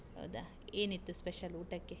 ಹೌದಾ. ಏನ್ ಇತ್ತು special ಊಟಕ್ಕೆ?